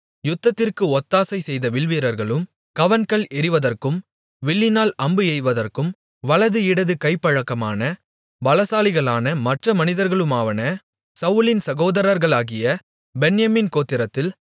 யுத்தத்திற்கு ஒத்தாசை செய்த வில்வீரர்களும் கவண்கல் எறிவதற்கும் வில்லினால் அம்பு எய்வதற்கும் வலது இடது கை பழக்கமான பலசாலிகளான மற்ற மனிதர்களுமாவன சவுலின் சகோதரர்களாகிய பென்யமீன் கோத்திரத்தில்